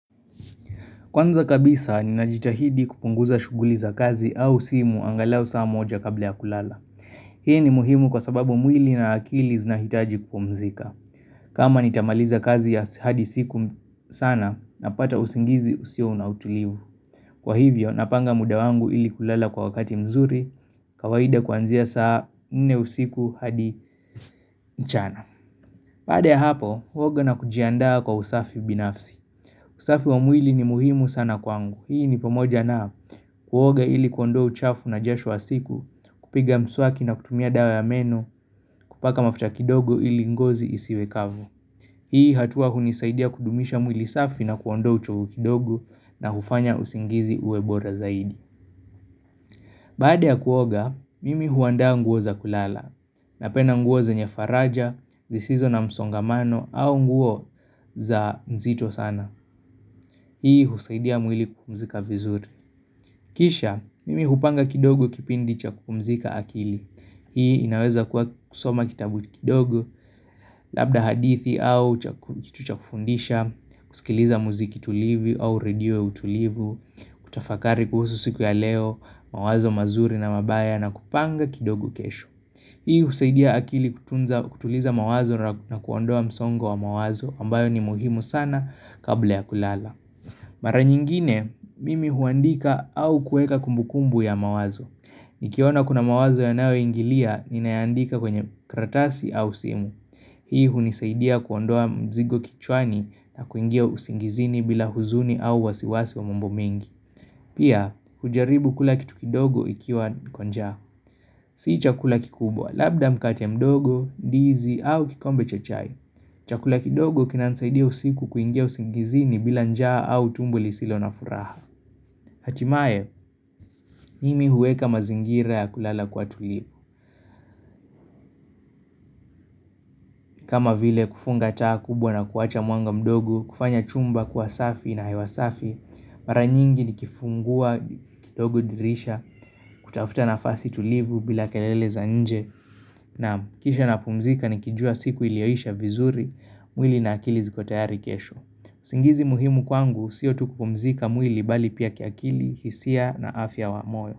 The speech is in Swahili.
Kwanza kabisa, ninajitahidi kupunguza shughuli za kazi au simu angalao saa moja kabla ya kulala. Hii ni muhimu kwa sababu mwili na akili zinahitaji kupomzika. Kama nitamaliza kazi ya hadi siku sana na pata usingizi usio na utulivu. Kwa hivyo, napanga muda wangu ili kulala kwa wakati mzuri, kawaida kuanzia saa mne usiku hadi nchana. Baada ya hapo, huoga na kujiandaa kwa usafi binafsi. Usafi wa mwili ni muhimu sana kwangu. Hii ni pamoja na kuoga ili kuondoa uchafu na jasho wa siku kupiga mswaki na kutumia dawa ya meno kupaka mafuta kidogo ili ngozi isiwekavu Hii hatua hunisaidia kudumisha mwili safi na kuondo uchovu kidogo na hufanya usingizi uwebora zaidi Baada ya kuoga, mimi huanda nguo za kulala Napenda nguo zenye faraja, zisizo na msongamano au nguo za nzito sana. Hii husaidia mwili kupumzika vizuri Kisha, mimi hupanga kidogo kipindi cha kupumzika akili. Hii inaweza kuwa kusoma kitabu kidogo, labda hadithi au kitu cha kufundisha, kusikiliza muziki tulivu au radio ya utulivu, kutafakari kuhusu siku ya leo, mawazo mazuri na mabaya na kupanga kidogo kesho. Hii husaidia akili kutuliza mawazo na kuondoa msongo wa mawazo ambayo ni muhimu sana kabla ya kulala. Mara nyingine, mimi huandika au kueka kumbu kumbu ya mawazo. Nikiona kuna mawazo yanayoingilia, ninayaandika kwenye karatasi au simu. Hii hunisaidia kuondoa mzigo kichwani na kuingia usingizini bila huzuni au wasiwasi wa mambo mingi. Pia, hujaribu kula kitu kidogo ikiwa niko njaa. Sii chakula kikubwa, labda mkate mdogo, ndizi au kikombe cha chai. Chakula kidogo kinanisaidia usiku kuingia usingizini bila njaa au tumbo lisilo na furaha. Hatimaye, mimi huweka mazingira ya kulala kuwa tulivu kama vile kufunga taa kubwa na kuacha mwanga mdogo, kufanya chumba kuwa safi na hewasafi Mara nyingi nikifungua, kidogo dirisha, kutafuta nafasi tulivu bila kelele za nje Naam kisha napumzika nikijua siku iliyoisha vizuri, mwili na akili zikotayari kesho usingizi muhimu kwangu, sio tu kupumzika mwili bali pia kiakili, hisia na afya wa moyo.